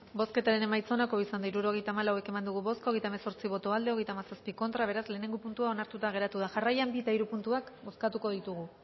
bozketaren emaitza onako izan da hirurogeita hamabost eman dugu bozka hogeita hemezortzi boto aldekoa treinta y siete contra beraz lehenengo puntua onartuta geratu da jarraian bi eta hiru puntuak bozkatuko ditugu